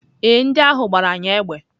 Ee, ndị ahụ gbara anyị égbè.